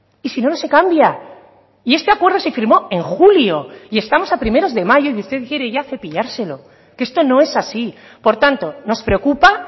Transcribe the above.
y sino no se cambia y este acuerdo se firmó en julio y estamos a primeros de mayo y usted quiere ya cepillárselo que esto no es así por tanto nos preocupa